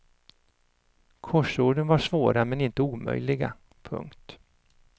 Korsorden var svåra men inte omöjliga. punkt